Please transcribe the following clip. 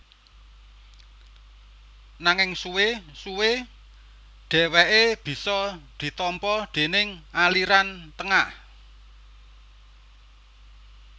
Nanging suwé suwé dhèwèké bisa ditampa déning aliran tengah